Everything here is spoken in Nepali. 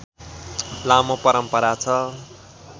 लामो परम्परा छ